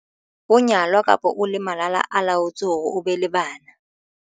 o nyalwa kapa o le malala-a-laotswe hore o be le bana.